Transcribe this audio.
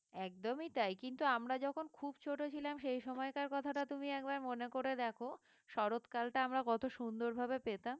একদমই তাই কিন্তু আমরা যখন খুব ছোট ছিলাম সেই সময়কার কথাটা তুমি একবার মনে করে দেখো শরৎকালটা আমরা কত সুন্দর ভাবে পেতাম